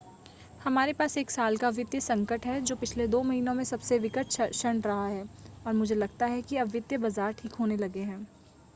हमारे पास एक साल का वित्तीय संकट है, जो पिछले दो महीनों में सबसे विकट क्षण रहा है और मुझे लगता है कि अब वित्तीय बाज़ार ठीक होने लगे हैं.